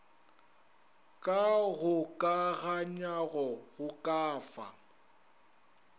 ka kgokaganywago go ka fa